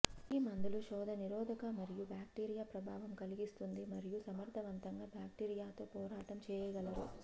ఈ మందులు శోథ నిరోధక మరియు బాక్టీరియా ప్రభావం కలిగిస్తుంది మరియు సమర్ధవంతంగా బ్యాక్టీరియాతో పోరాటం చేయగలరు